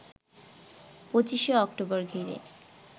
২৫ অক্টোবর ঘিরে